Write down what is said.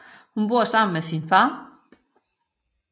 Hun bor sammen med sin far